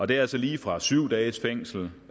det er altså lige fra syv dages fængsel